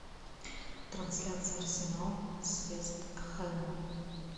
трансляция арсенал с вест хэмом